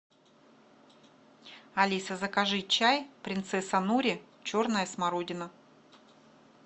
алиса закажи чай принцесса нури черная смородина